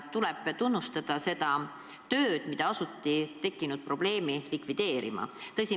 Tuleb tunnustada seda, et tekkinud probleemi asuti likvideerima.